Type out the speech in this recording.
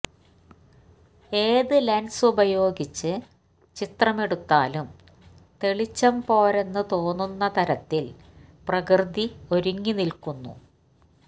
ഏത് ലെന്സ് ഉപയോഗിച്ച് ചിത്രമെടുത്താലും തെളിച്ചം പോരെന്ന് തോന്നുന്നതരത്തില് പ്രകൃതി ഒരുങ്ങിനില്ക്കുന്നു